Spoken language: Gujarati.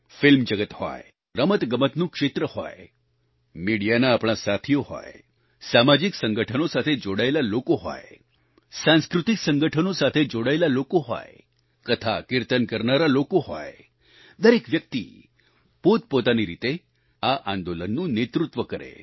ફિલ્મ જગત હોય રમતગમતનું ક્ષેત્ર હોય મીડિયાના આપણા સાથીઓ હોય સામાજિક સંગઠનો સાથે જોડાયેલા લોકો હોય સાંસ્કૃતિક સંગઠનો સાથે જોડાયેલા લોકો હોય કથાકિર્તન કરનારા લોકો હોય દરેક વ્યક્તિ પોતપોતાની રીતે આ આંદોલનનું નેતૃત્વ કરે